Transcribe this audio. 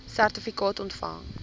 sertifikaat ontvang